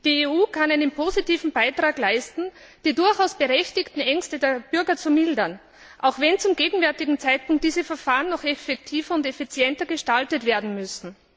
Die EU kann einen positiven Beitrag dazu leisten, die durchaus berechtigten Ängste der Bürger zu mildern, auch wenn zum gegenwärtigen Zeitpunkt diese Verfahren noch effektiver und effizienter gestaltet werden müssen.